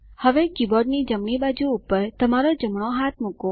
હવે કીબોર્ડની જમણી બાજુ પર તમારો જમણો હાથ મૂકો